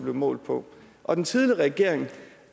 målt på og den tidligere regering